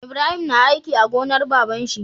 Ibrahim na aiki a gonar baban shi